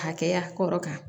Hakɛya kɔrɔ kan